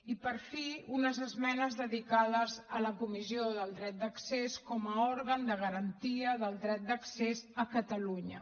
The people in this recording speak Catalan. i per fi unes esmenes dedicades a la comissió del dret d’accés com a òrgan de garantia del dret d’accés a catalunya